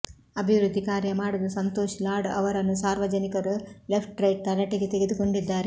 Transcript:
ಅಭಿವೃದ್ಧಿ ಕಾರ್ಯ ಮಾಡದ ಸಂತೋಷ್ ಲಾಡ್ ಅವರನ್ನು ಸಾರ್ವಜನಿಕರು ಲೆಫ್ಟ್ ರೈಟ್ ತರಾಟೆಗೆ ತೆಗೆದುಕೊಂಡಿದ್ದಾರೆ